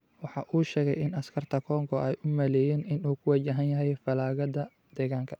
waxa uu sheegay in askarta Kongo ay u maleeyeen in ay ku wajahan yihiin falaagada deegaanka.